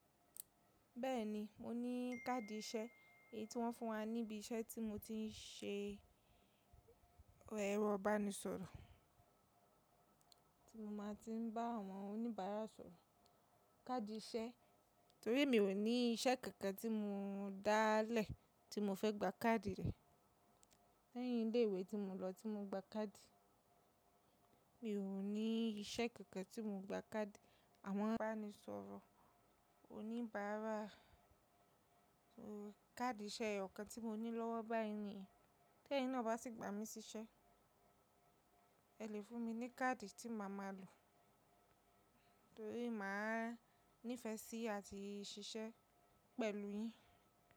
Bẹ́ẹ̀ni, mo ní káàdì iṣẹ́, èyí tí wọ́n fún wa níbi iṣẹ́ tí mo ti ń ṣe ẹrọ ìbánisọ̀rọ̀, tí mo máa ti ń bá àwọn oníbàárà sọ̀rọ̀. Káàdì iṣẹ́, torí mi ò ní iṣẹ́ kankan tí mo dáálẹ̀ tí mo fẹ́ gba káàdì rẹ̀. Lẹ́yìn ilé ìwé tí mo lọ tí mo gba káàdì. Mi ò ní iṣẹ́ kankan tí mo gba káàdì. Àwọn ìbánisọ̀rọ̀ oníbàárà, káàdì iṣẹ́ ọ̀kan tí mo ní lọ́wọ́ báyìí nìyẹn. Tẹ́ẹ̀ náà bá sì gbà mí sí iṣẹ́, ẹ lè fún mi ní káàdì tí màá máa lò torí màá nífẹ̀ẹ́ sí i àti ṣiṣẹ́ pẹ̀lú yín.